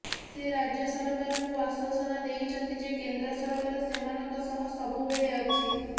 ସେ ରାଜ୍ୟ ସରକାରଙ୍କୁ ଆଶ୍ୱାସନା ଦେଇଛନ୍ତି ଯେ କେନ୍ଦ୍ର ସରକାର ସେମାନଙ୍କ ସହ ସବୁବେଳେ ଅଛି